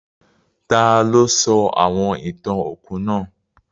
Taló sọ àwon ìtàn òkú náà?